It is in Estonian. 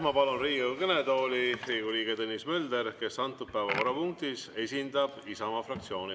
Ma palun Riigikogu kõnetooli Riigikogu liikme Tõnis Mölderi, kes antud päevakorrapunktis esindab Isamaa fraktsiooni.